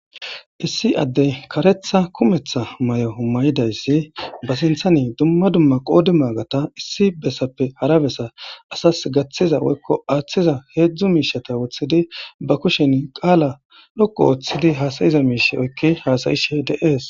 Issi addey karetha kumetha may7o hummayidayssi ba sinthani dumma dumma qoodi maagata issi bessappe harabesa asas gaththiza woykko aaththiza heedzdzu miishata woththidi ba kushen qaala loqo ooththidi haasayiza miishe oykki haasayishe dees.